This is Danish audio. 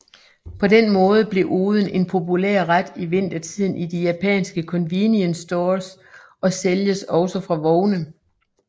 På den måde blev oden en populær ret i vintertiden i de japanske convenience stores og sælges også fra vogne